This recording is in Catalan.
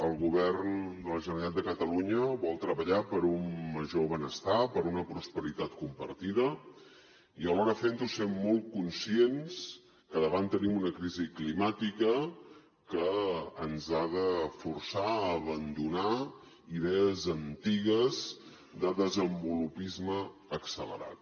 el govern de la generalitat de catalunya vol treballar per un major benestar per una prosperitat compartida i alhora fent ho sent molt conscients que davant tenim una crisi climàtica que ens ha de forçar a abandonar idees antigues de desenvolupisme accelerat